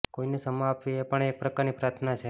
કોઈને ક્ષમા આપવી એ પણ એક પ્રકારની પ્રાર્થના છે